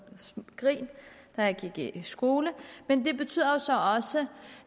grin da jeg gik i skole men det betyder jo så også